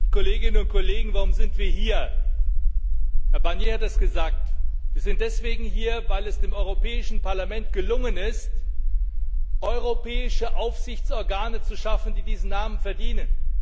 Frau Präsidentin! Kolleginnen und Kollegen! Warum sind wir hier? Herr Barnier hat es gesagt Wir sind deswegen hier, weil es dem Europäischen Parlament gelungen ist, europäische Aufsichtsorgane zu schaffen, die diesen Namen verdienen.